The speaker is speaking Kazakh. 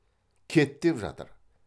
кет деп жатыр